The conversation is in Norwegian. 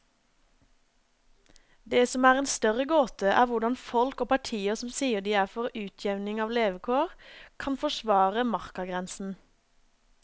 Det som er en større gåte, er hvordan folk og partier som sier de er for utjevning av levekår, kan forsvare markagrensen.